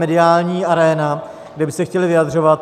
- mediální aréna, kde by se chtěli vyjadřovat.